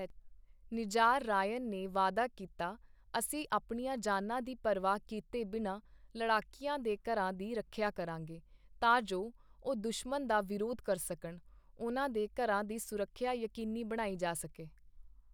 Nizar Rayan ਨੇ ਵਾਅਦਾ ਕੀਤਾ, 'ਅਸੀਂ ਆਪਣੀਆਂ ਜਾਨਾਂ ਦੀ ਪਰਵਾਹ ਕੀਤੇ ਬਿਨਾਂ ਲੜਾਕਿਆਂ ਦੇ ਘਰਾਂ ਦੀ ਰੱਖਿਆ ਕਰਾਂਗੇ, ਤਾਂ ਜੋ ਉਹ ਦੁਸ਼ਮਣ ਦਾ ਵਿਰੋਧ ਕਰ ਸਕਣ, ਉਨ੍ਹਾਂ ਦੇ ਘਰਾਂ ਦੀ ਸੁਰੱਖਿਆ ਯਕੀਨੀ ਬਣਾਈ ਜਾ ਸਕੇ।